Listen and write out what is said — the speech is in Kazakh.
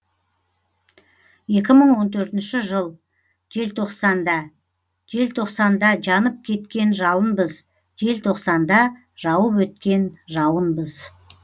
екі мың он төртінші жыл желтоқсанда желтоқсанда жанып кеткен жалынбыз желтоқсанда жауып өткен жауынбыз